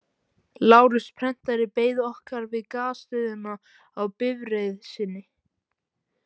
Lárus prentari beið okkar við Gasstöðina á bifreið sinni.